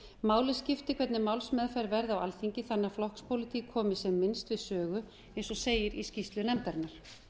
máli skiptir hvernig málsmeðferð verði á alþingi þannig að flokkspólitík komi sem minnst við sögu eins og segir í skýrslu nefndarinnar